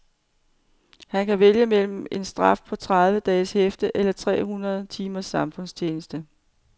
Han kan vælge mellem en straf på tredive dages hæfte eller tre hundrede timers samfundstjeneste.